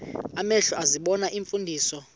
amehlo ezibona iimfundiso